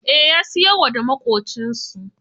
Eh, ya siyarwa da maƙocinsu